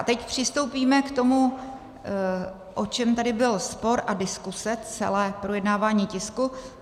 A teď přistoupíme k tomu, o čem tady byl spor a diskuse celé projednávání tisku.